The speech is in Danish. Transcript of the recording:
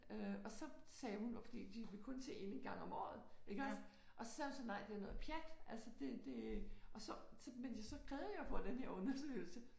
Øh og så sagde hun fordi de vil kun se en en gang om året iggås og så sagde hun så nej det er noget pjat altså det det og så men så krævede jeg at få den der undersøgelse